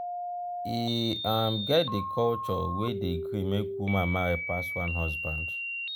e um get di culture wey dey gree make woman marry pass one husband.